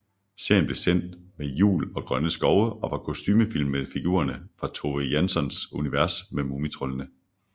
Serien blev sendt sammen med Jul og grønne skove og var kostumefilm med figurerne fra Tove Janssons univers med mumitroldene